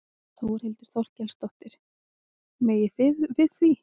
Þórhildur Þorkelsdóttir: Megið þið við því?